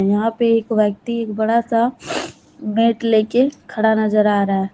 यहां पे एक व्यक्ति एक बड़ा सा मैट लेके खड़ा नजर आ रहा--